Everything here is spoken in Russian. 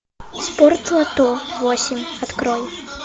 спорт лото восемь открой